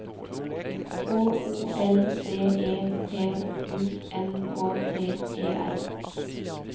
H O L D E P U N K T E R